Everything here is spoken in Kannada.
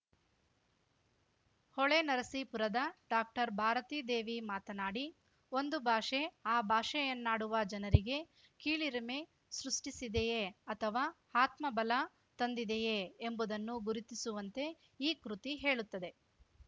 ಹೊಳೆನರಸೀಪುರದ ಡಾಕ್ಟರ್ ಭಾರತಿದೇವಿ ಮಾತನಾಡಿ ಒಂದು ಭಾಷೆ ಆ ಭಾಷೆಯನ್ನಾಡುವ ಜನರಿಗೆ ಕೀಳಿರಿಮೆ ಸೃಷ್ಟಿಸಿದೆಯೇ ಅಥವಾ ಆತ್ಮಬಲ ತಂದಿದೆಯೇ ಎಂಬುದನ್ನು ಗುರುತಿಸುವಂತೆ ಈ ಕೃತಿ ಹೇಳುತ್ತದೆ